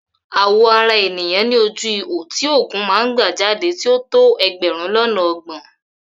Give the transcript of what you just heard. Àwọ̀ ara ènìyàn ní ojú ihò tí òógùn máa ń gbà jáde tí ó tó ẹgbẹ̀rún lọ́nà ọgbọ̀n.